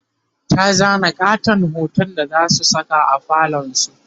ta zana ƙaton hoton da zasu Saka a falon su